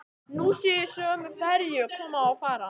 Nú sé ég sömu ferju koma og fara.